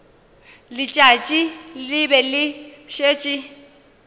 letšatši le be le šetše